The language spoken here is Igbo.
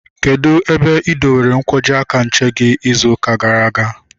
Kedụ ebe ị dowere nkwọji aka nche gị ịzụ ụka gara aga?